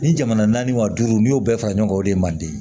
Ni jamana naani wa duuru n'i y'o bɛɛ fara ɲɔgɔn kan o de man di